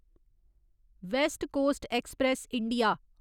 waste Coast Express India